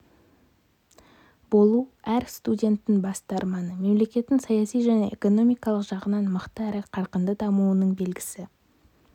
болу әр студенттің басты арманы мемлекеттің саяси және экономикалық жағынан мықты әрі қарқынды дамуының белгісі